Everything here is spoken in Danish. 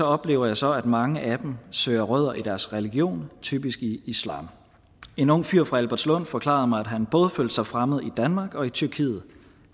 oplever jeg så at mange af dem søger rødder i deres religion typisk i islam en ung fyr fra albertslund forklarede mig at han både følte sig fremmed i danmark og i tyrkiet